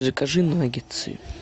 закажи наггетсы